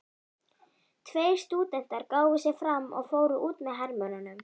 Tveir stúdentar gáfu sig fram og fóru út með hermönnunum.